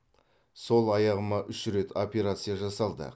сол аяғыма үш рет операция жасалды